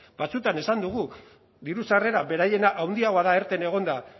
batzuetan esan dugu diru sarrera beraiena handiagoa da erten egonda